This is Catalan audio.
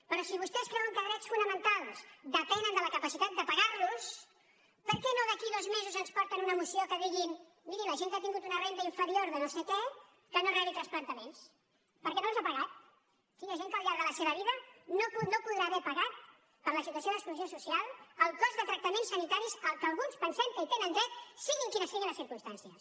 però si vostès creuen que els drets fonamentals depenen de la capacitat de pagar los per què no d’aquí a dos mesos ens porten una moció en què diguin miri la gent que ha tingut una renda inferior de no sé què que no rebi transplantaments perquè no els ha pagat sí hi ha gent que al llarg de la seva vida no podrà haver pagat per la situació d’exclusió social el cost de tractaments sanitaris que alguns pensem que hi tenen dret siguin quines siguin les circumstàncies